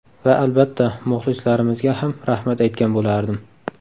Va albatta, muxlislarimizga ham rahmat aytgan bo‘lardim.